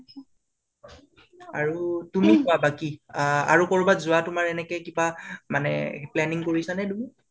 আৰু তুমি কোৱা বাকি আ আৰু কৰবাত যোৱা তোমাৰ এনেকে কিবা আ মানে planning কৰিছা নে তুমি